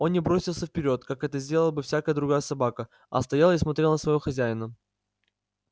он не бросился вперёд как это сделала бы всякая другая собака а стоял и смотрел на своего хозяина